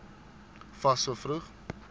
fas so vroeg